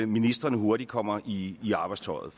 ministrene hurtigt kommer i i arbejdstøjet